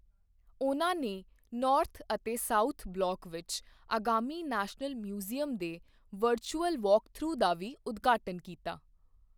ਉਨ੍ਹਾਂ ਨੇ ਨੌਰਥ ਅਤੇ ਸਾਊਥ ਬਲਾਕ ਵਿੱਚ ਆਗਾਮੀ ਨੈਸ਼ਨਲ ਮਿਊਜ਼ੀਅਮ ਦੇ ਵਰਚੁਅਲ ਵਾਕਥਰੂ ਦਾ ਵੀ ਉਦਘਾਟਨ ਕੀਤਾ।